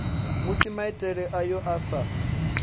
musi maitele ayo a sa